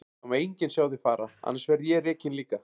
Það má enginn sjá þig fara, annars verð ég rekinn líka.